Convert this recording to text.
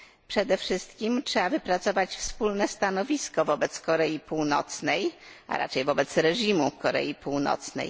Przede wszystkim trzeba wypracować wspólne stanowisko wobec Korei Północnej, a raczej wobec reżimu w Korei Północnej.